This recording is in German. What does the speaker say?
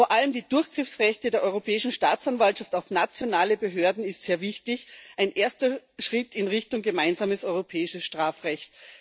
Vor allem die Durchgriffsrechte der Europäischen Staatsanwaltschaft auf nationale Behörden sind sehr wichtig ein erster Schritt in Richtung gemeinsames europäisches Strafrecht.